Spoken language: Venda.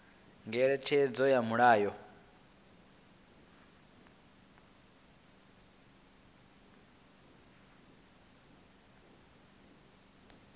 ngeletshedzo ya mulayo i bvaho